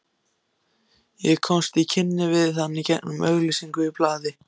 Ég komst í kynni við hann gegnum auglýsingu í blaði.